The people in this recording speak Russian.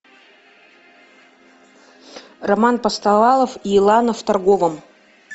роман постовалов и лана в торговом